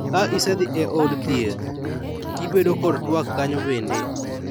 Ka isedhi e od thieth, ibedo kod twak kanyo bende.